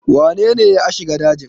wanene ya a shiga dajin?